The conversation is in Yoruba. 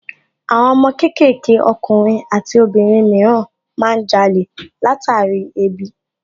Àwọn ọmọ kéékèèké ọkùnrin àti obìnrin mìíràn má ń jalè látàrí ebi